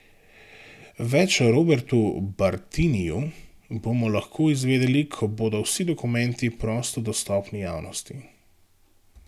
Več o Robertu Bartiniju bomo lahko izvedeli, ko bodo vsi dokumenti prosto dostopni javnosti.